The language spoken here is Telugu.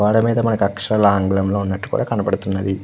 గోడ మేధా ఆకాశారాళ్ళు మనకి ఆంగ్లం లో వున్నటు కూడా కనబడుతుంది.